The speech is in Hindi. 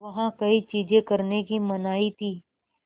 वहाँ कई चीज़ें करने की मनाही थी